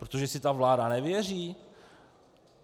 Protože si ta vláda nevěří?